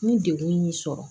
Ni degun y'i sɔrɔ